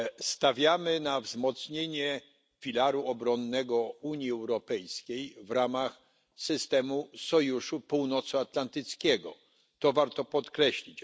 Stawiamy na wzmocnienie filaru obronnego Unii Europejskiej w ramach systemu Sojuszu Północnoatlantyckiego, co warto podkreślić.